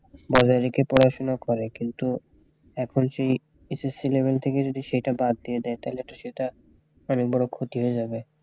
বজায় রেখে পড়াশোনা করে কিন্তু এখন সে ssc level থেকে যদি সেইটা বাদ দিয়ে দেয় তাহলে তো সেটা অনেক বড় ক্ষতি হয়ে যাবে